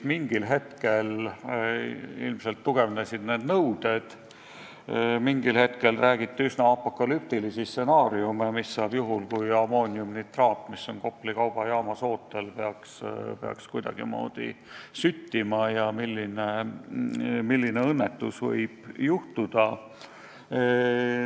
Mingil hetkel ilmselt need nõuded karmistusid, mingil hetkel räägiti üsna apokalüptilistest stsenaariumidest, mis saab juhul, kui ammooniumnitraat, mis on Kopli kaubajaamas ootel, peaks kuidagimoodi süttima, milline õnnetus võib juhtuda.